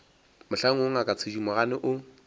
mohlang woo ngaka thedimogane o